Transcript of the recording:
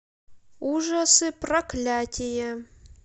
ужасы проклятия